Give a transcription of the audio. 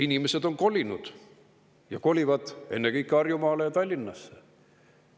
Inimesed on kolinud ja kolivad ennekõike Tallinnasse ja Harjumaale.